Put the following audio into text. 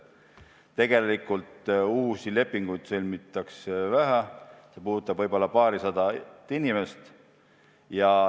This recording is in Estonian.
Tegelikult uusi lepinguid sõlmitakse vähe, see puudutab võib-olla paarisadat inimest.